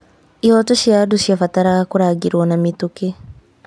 Ihooto cia andũ ciabataraga kũrangĩreo na mĩtũkĩ.